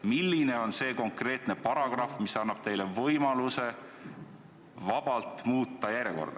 " Milline on see konkreetne paragrahv, mis annab teile võimaluse järjekorda vabalt muuta?